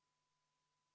V a h e a e g